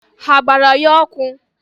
Ha gbara ya ọkụ?